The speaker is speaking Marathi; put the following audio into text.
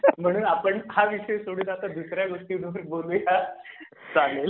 म्हणून आपण हा विषय सोडून आता दुसर् या गोष्टीवर बोलू या चालेल .